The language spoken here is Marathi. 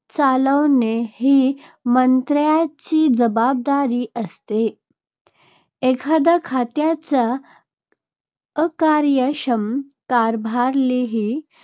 चालवणे ही मंत्र्यांची जबाबदारी असते. एखादया खात्याच्या अकार्यक्षम कारभारालाही